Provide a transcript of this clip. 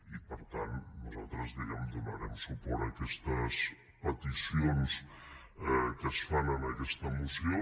i per tant nosaltres diguem ne donarem suport a aquestes peticions que es fan en aquesta moció